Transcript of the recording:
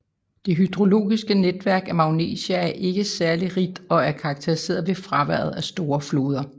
Det hydrologiske netværk af Magnesia er ikke særlig rigt og er karakteriseret ved fraværet af store floder